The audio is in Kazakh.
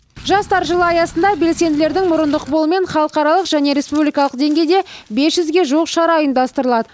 жастар жылы аясында белсенділердің мұрындық болуымен халықаралық және республикалық деңгейде бес жүзге жуық шара ұйымдастырылады